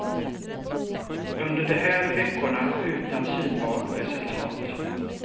Under de här veckorna utan synbart resultat.